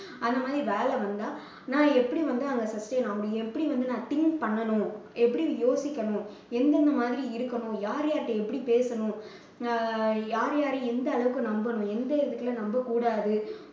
அது மாதிரி வேலை வந்தா நான் எப்படி வந்து அங்க sustain ஆக முடியும் எப்படி வந்து நான் think பண்ணணும் எப்படி யோசிக்கணும் என்னென்ன மாதிரி இருக்கணும் யார் யார்ட்ட எப்படி பேசணும் அஹ் யார் யாரை எந்த அளவுக்கு நம்பணும் எந்த விதத்துல நம்பக்கூடாது